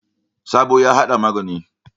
Sabo ya hada magani.